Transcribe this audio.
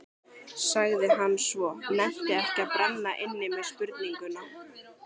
sagði hann svo, nennti ekki að brenna inni með spurninguna.